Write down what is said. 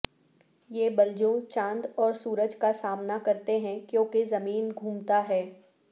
یہ بلجوں چاند اور سورج کا سامنا کرتے ہیں کیونکہ زمین گھومتا ہے